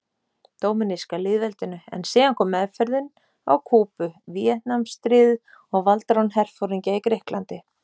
Dóminíska lýðveldinu, en síðan kom meðferðin á Kúbu, Víetnamstríðið og valdarán herforingja í Grikklandi.